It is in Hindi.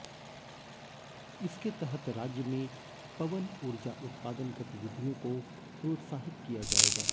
इसके तहत राज्य में पवन ऊर्जा उत्पादन गतिविधियों को प्रोत्साहित किया जाएगा